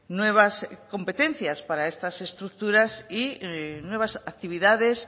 nuevas competencias para estas estructuras y nuevas actividades